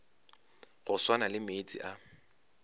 go swana le meetse a